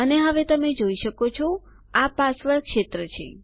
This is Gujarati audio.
અને હવે તમે જોઈ શકો છો આ પાસવર્ડ ક્ષેત્ર છે